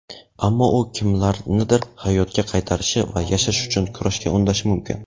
Ammo u kimlarnidir hayotga qaytarishi va yashash uchun kurashga undashi mumkin.